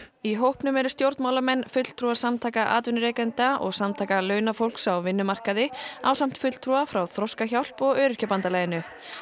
í hópnum eru stjórnmálamenn fulltrúar samtaka atvinnurekenda og samtaka launafólks á vinnumarkaði ásamt fulltrúa frá Þroskahjálp og Öryrkjabandalaginu